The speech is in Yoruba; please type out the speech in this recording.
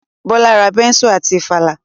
Bọ́lá ra bẹ́nsù àti ìfàlà